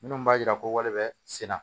Minnu b'a yira ko wale bɛ senna